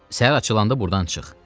Səhər açılanda burdan çıx.